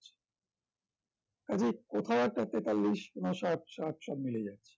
কাজে কোথাও একটা তেতাল্লিশ, ঊনষাট, ষাট মিলে যায়